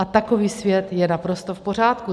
A takový svět je naprosto v pořádku.